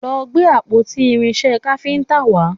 Lọ gbé àpótí irinṣẹ́ káfíntà wá!